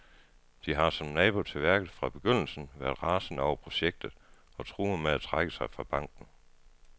De har, som nabo til værket, fra begyndelsen været rasende over projektet og truer med at trække sig fra banken.